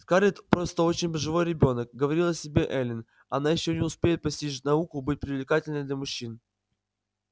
скарлетт просто очень живой ребёнок говорила себе эллин она ещё не успеет постичь науку быть привлекательной для мужчин